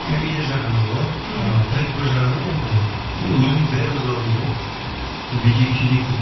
комедия жағынан ғой мхм і трековый жағының енді өзіміз бәріміз бармыз ғой бүйтейік сөйтейік деп